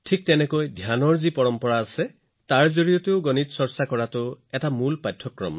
অৱশ্যে ধ্যানৰ পৰম্পৰা অনুসৰি এনেদৰে গণিত কৰাটোও ধ্যানৰ এক প্ৰাথমিক পাঠ্যক্ৰম